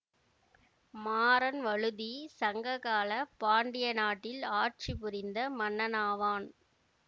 மாறன் வழுதி சங்ககால பாண்டிய நாட்டில் ஆட்சி புரிந்த மன்னனாவான்